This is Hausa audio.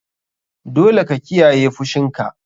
Dole ka kiyaye fushinka.